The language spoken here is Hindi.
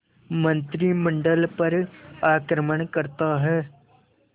मंत्रिमंडल पर आक्रमण करता है